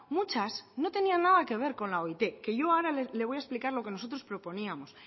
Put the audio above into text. muchas no tenían nada que ver con la oit que yo ahora le voy a explicar lo que nosotros proponíamos